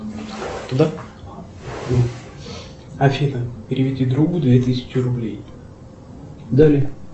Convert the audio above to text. афина переведи другу две тысячи рублей